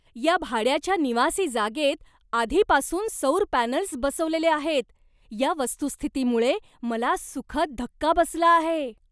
या भाड्याच्या निवासी जागेत आधीपासून सौर पॅनल्स बसवलेले आहेत या वस्तुस्थितीमुळे मला सुखद धक्का बसला आहे.